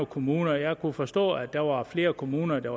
kommuner jeg kunne forstå at der var flere kommuner der